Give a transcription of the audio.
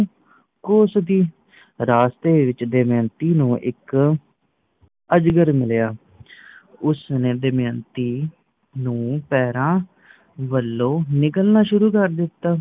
ਕੋਸਦੀ ਰਾਸਤੇ ਵਿੱਚ ਦਮਯੰਤੀ ਨੂੰ ਇੱਕ ਅਜਗਰ ਮਿਲਿਆਂ ਉਸਨੇ ਨੇ ਦਮਯੰਤੀ ਨੂੰ ਪੈਰਾਂ ਵੱਲੋਂ ਨਿਗਲਣਾ ਸ਼ੁਰੂ ਕਰ ਦਿੱਤਾ